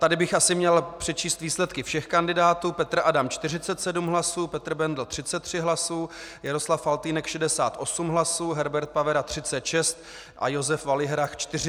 Tady bych asi měl přečíst výsledky všech kandidátů: Petr Adam 47 hlasů, Petr Bendl 33 hlasy, Jaroslav Faltýnek 68 hlasů, Herbert Pavera 36 a Josef Valihrach 41 hlas.